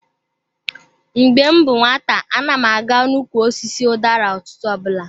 Mgbe m bụ nwata, ana m aga n'ukwu osisi udara ụtụtụ ọbụla.